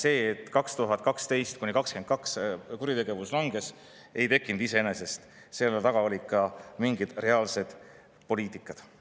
See, et 2012–2022 kuritegevus langes, ei tekkinud iseenesest, selle taga oli reaalne poliitika.